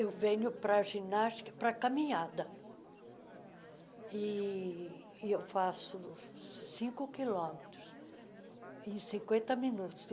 Eu venho para a ginástica e para a caminhada e e eu faço cinco quilômetros em cinquenta minutos.